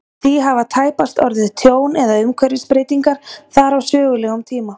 Því hafa tæpast orðið tjón eða umhverfisbreytingar þar á sögulegum tíma.